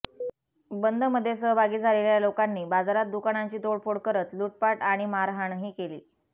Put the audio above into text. बंदमध्ये सहभागी झालेल्या लोकांनी बाजारात दुकानांची तोडफोड करत लुटपाट आणि मारहाणही केली